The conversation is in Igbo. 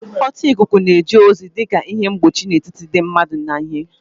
Ọta ikuku na-eje ozi dị ka ihe mgbochi n'etiti ndị mmadụ na ihe